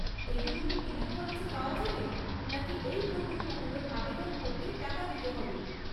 এগুলো কি বিনা খরচে পাওয়া যাবে, নাকি এই প্রকল্পগুলোর আবেদন করতে টাকা দিতে হবে?